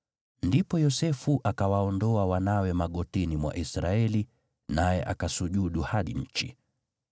Ndipo Yosefu akawaondoa wanawe magotini mwa Israeli naye akasujudu hadi nchi.